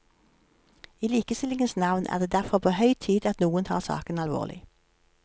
I likestillingens navn er det derfor på høy tid at noen tar saken alvorlig.